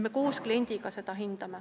Me koos kliendiga seda hindame.